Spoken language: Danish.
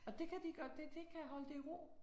Og det kan de godt det det kan holde det i ro?